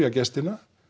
gestina